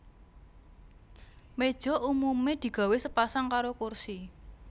Méja umumé digawé sepasang karo kursi